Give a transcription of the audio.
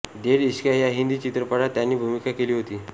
देढ इश्किया या हिंदी चित्रपटात त्यांनी भूमिका केली होती